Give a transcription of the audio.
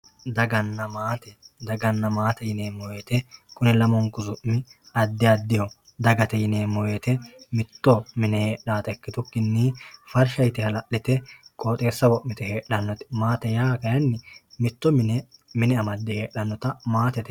Daganna maate, daganna maate yineemmo woyte kuni lamunku su'mi addi addiho dagate yineemmo woyte mitto mine heedhanotta ikkitukkinni farsha yte hala'lite qooxxeessa wo'mite heedhanote, maate yaa kayinni mitto mine amade heedhanotta maatete yineemmo.